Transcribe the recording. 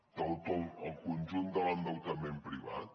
de tot el conjunt de l’endeutament privat